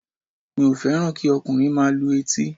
Mi ò fẹ́ràn kí ọkùnrin máa lu etí